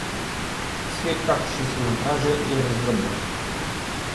Svet, kakršen se nam kaže, je razdrobljen.